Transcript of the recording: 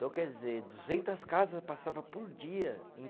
Então, quer dizer, duzentas casas passava por dia, em